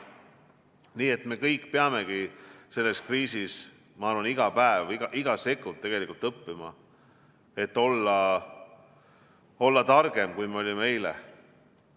Nii et me kõik peamegi selles kriisis, ma arvan, iga päev või iga sekund õppima, et olla targem, kui me olime eile.